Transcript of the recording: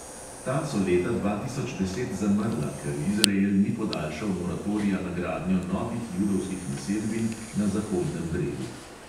Ta so leta dva tisoč deset zamrla, ker izrael ni podaljšal moratorija na gradnjo novih judovskih naselbin na zahodnem bregu.